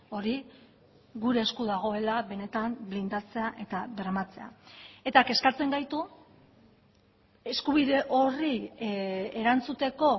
hori gure esku dagoela benetan blindatzea eta bermatzea eta kezkatzen gaitu eskubide horri erantzuteko